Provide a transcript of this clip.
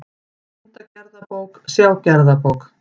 Fundagerðabók, sjá gerðabók